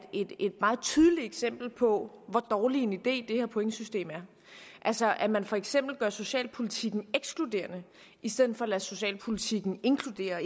meget tydeligt eksempel på hvor dårlig en idé det her pointsystem er altså at man for eksempel gør socialpolitikken ekskluderende i stedet for at lade socialpolitikken inkludere og